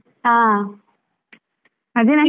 ಹಾ, ಅದೇ ನಾನು.